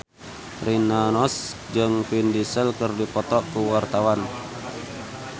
Rina Nose jeung Vin Diesel keur dipoto ku wartawan